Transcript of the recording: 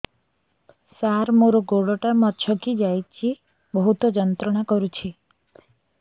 ସାର ମୋର ଗୋଡ ଟା ମଛକି ଯାଇଛି ବହୁତ ଯନ୍ତ୍ରଣା କରୁଛି